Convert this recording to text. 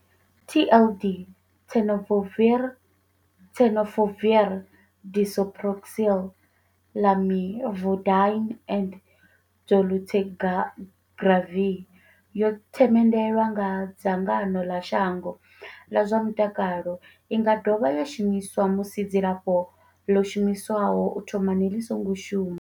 TLD, Tenofovir disoproxil, Lamivudine and dolutegravir, yo themendelwa nga dzangano ḽa shango ḽa zwa mutakalo. I nga dovha ya shumiswa musi dzilafho ḽo shumiswaho u thomani ḽi songo shuma.